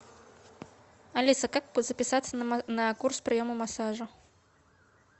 алиса как записаться на курс приема массажа